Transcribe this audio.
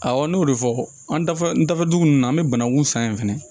Awɔ n y'o de fɔ an da n da dugu ninnu na an bɛ banangun san yen fɛnɛ